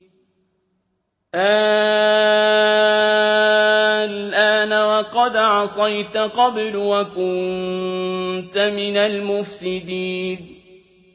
آلْآنَ وَقَدْ عَصَيْتَ قَبْلُ وَكُنتَ مِنَ الْمُفْسِدِينَ